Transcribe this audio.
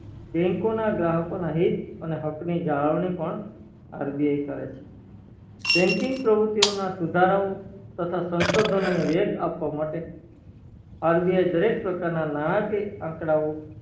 bank ના ગ્રાહકોના હિત અને હકની જાળવણી પણ RBI કરે છે banking પ્રવૃત્તિ ઓ ના સુધારાઓ સંસ્તાધાનો ને વેગ આપવા માટે RBI દરેક પ્રકાર ના નાણાકીય આકડાઓ